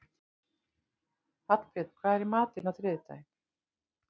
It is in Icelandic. Hallbjörn, hvað er í matinn á þriðjudaginn?